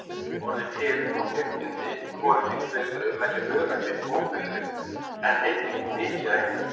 Orðin firn og firnindi í hvorugkyni fleirtölu merkja öræfi, óbyggðir en einnig mikið af einhverju.